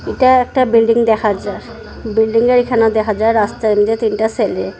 এটা একটা বিল্ডিং দেখা যায় বিল্ডিংয়ের এখানয় দেখা যায় রাস্তায় যে তিনটা সেলে।